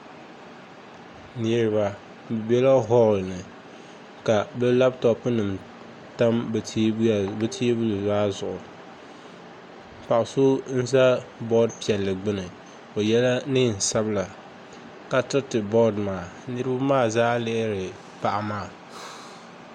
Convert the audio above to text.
Niraba bi bɛla holl ni ka bi labtop nim tam bi teebuli maa zuɣu paɣa so n ʒɛ bood piɛlli gbuni o yɛla neen sabila ka tiriti bood maa ka niraba maa zaa lihiri paɣa maa